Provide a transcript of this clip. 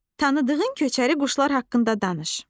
Tanıdığın köçəri quşlar haqqında danış.